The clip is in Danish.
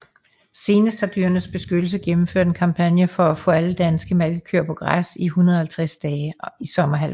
Senest har Dyrenes Beskyttelse gennemført en kampagne for at få alle danske malkekøer på græs i 150 dage i sommerhalvåret